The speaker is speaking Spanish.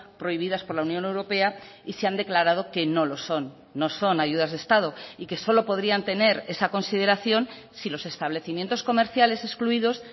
prohibidas por la unión europea y se han declarado que no lo son no son ayudas de estado y que solo podrían tener esa consideración si los establecimientos comerciales excluidos